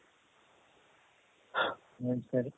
ಹ ಸರಿ